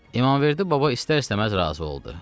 İmamverdi baba istər-istəməz razı oldu.